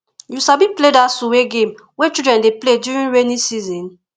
you sabi play dat suwe game wey children dey play during rainy season